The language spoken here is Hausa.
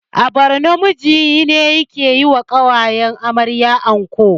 A borno miji ne yake yiwa ƙawayen amarya anko